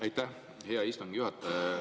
Aitäh, hea istungi juhataja!